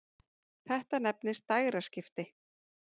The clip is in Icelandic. Þetta nefnist dægraskipti.